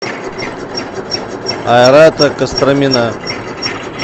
айрата костромина